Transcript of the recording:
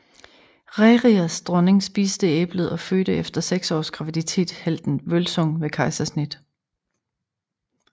Rerirs dronning spiste æblet og fødte efter seks års graviditet helten Vølsung ved kejsersnit